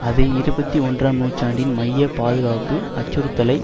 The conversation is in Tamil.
அது இருபத்தி ஒன்றாம் நூற்றாண்டின் மைய பாதுகாப்பு அச்சுறுத்தலை